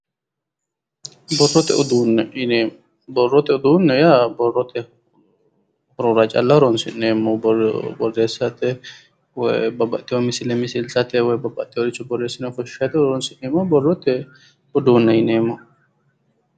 Borrotte uduune yiinemo, borrotte uduune yaa borrotte horora calla horoosi'neemoho, borreessatte woy babbaxitinno misille misilisatte woy babbaxinoricho borreesse ofoshiishate horosi'neemoha borrotte uduunne yineemo.